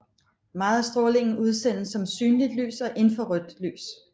Meget af strålingen udsendes som synligt lys og infrarødt lys